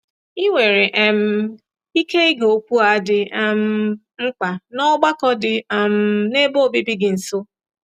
Ị nwere um ike ige okwu a dị um mkpa ná ọgbakọ dị um n’ebe obibi gị nso.